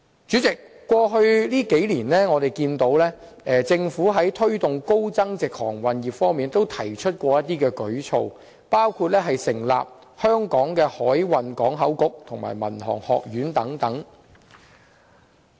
主席，過去數年，我們看到政府在推動高增值航運業方面也曾推出一些舉措，包括成立香港海運港口局和民航學院等。